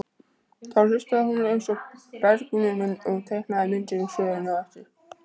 Þá hlustaði hún eins og bergnumin og teiknaði myndir úr sögunni á eftir.